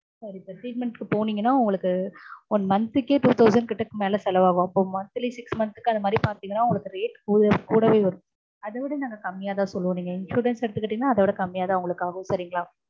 sorry sir treatment க்கு போனீங்கன்னா உங்களுக்கு one month க்கே two thousand கிட்ட மேல செலவாகும். அப்போ monthly six month க்கு அந்த மாதிரி பாத்தீங்கன்னா உங்களுக்கு rate கூடவே வரும். அத விட நாங்க கம்மியாதா சொல்லுவோம். insurance எடுத்துக்கிட்டீங்கன்னா கம்மியாதா ஆகும்.